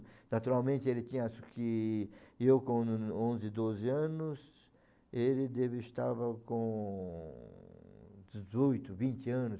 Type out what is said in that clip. Naturalmente ele tinha, acho que eu com onze, doze anos, ele estava com dezoito, vinte anos.